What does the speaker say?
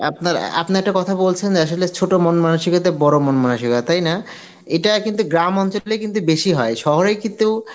আপনার অ্যাঁ আপনে একটা কথা বলছেন আসলে ছোট মন মানসিকতা বড় মন মানসিকতা তাই না এটা কিন্তু গ্রামাঞ্চলেই কিন্তু বেশি হয় শহরে কিন্তু